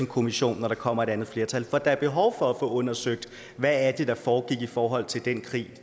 kommission når der kommer et andet flertal for der er behov for at få undersøgt hvad det var der foregik i forhold til den krig